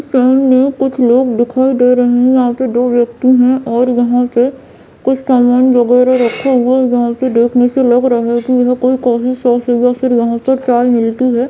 सामने कुछ लोग दिखाई दे रहें हैं यहाँ पे दो व्यक्ति हैं और यहाँ पे कुछ समान वगैरा रखे हुए हैं जो की देखने से लग रहा है की यह कोई कॉफ़ी शॉप है या फिर यहाँ पर चाय मिलती है।